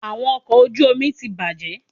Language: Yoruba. Awọn ọkọ oju omi ti bajẹ